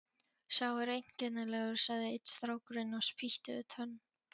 Sá er einkennilegur, sagði einn strákurinn og spýtti við tönn.